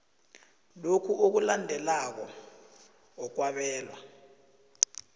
lokhu okulandelako okwabelwa